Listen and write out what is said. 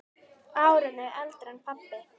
Árinu eldri en pabbi.